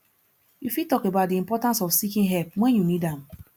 you fit talk about di importance of seeking help when you need am